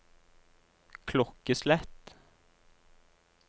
klokkeslett